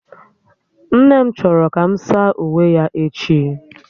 Nne m chọrọ ka m saa uwe ya echi